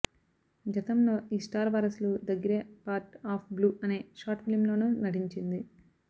గతంలో ఈ స్టార్ వారసురాలు the grey part of blue అనే షార్ట్ ఫిలింలోనూ నటించింది